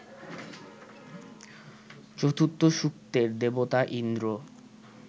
চতুর্থ সূক্তের দেবতা ইন্দ্র